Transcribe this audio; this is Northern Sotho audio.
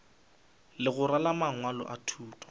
legora la mangwalo a thuto